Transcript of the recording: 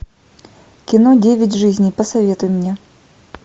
кино девять жизней посоветуй мне